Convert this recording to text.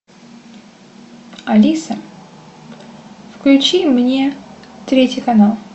алиса включи мне третий канал